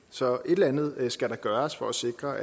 så et eller andet skal der gøres for at sikre